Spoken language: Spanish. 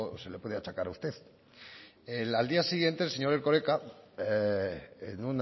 se le puede achacar a usted al día siguiente el señor erkoreka en